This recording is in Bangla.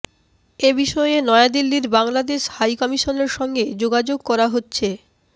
এ বিষয়ে নয়াদিল্লির বাংলাদেশ হাইকমিশনের সঙ্গে যোগাযোগ করা হচ্ছে